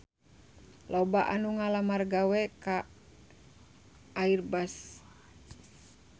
Loba anu ngalamar gawe ka Airbus